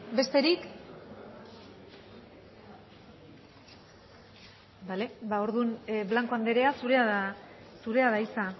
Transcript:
besterik bale orduan blanco anderea zurea da hitza